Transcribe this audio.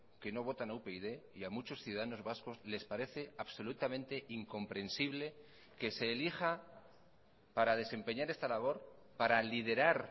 que no votan a upyd y a muchos ciudadanos vascos les parece absolutamente incomprensible que se elija para desempeñar esta labor para liderar